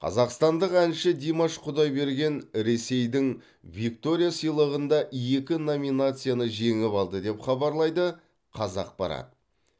қазақстандық әнші димаш құдайберген ресейдің виктория сыйлығында екі номинацияны жеңіп алды деп хабарлайды қазақпарат